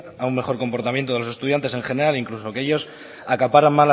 a un mejor comportamiento de los estudiantes en general incluso aquellos acaparan